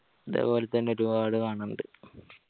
ഇതേ പോലെ തന്നെ ഒരുപാട് കാണാനിണ്ട്